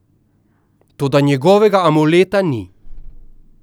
Toda njegovega amuleta ni.